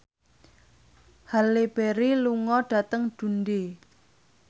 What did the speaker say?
Halle Berry lunga dhateng Dundee